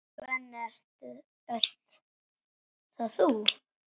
Svenni, ert það þú!?